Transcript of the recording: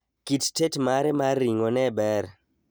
Kit tet mare mar ring'o neber